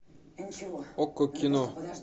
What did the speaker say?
окко кино